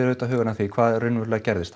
auðvitað hugann að því hvað raunverulega gerðist